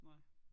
Nej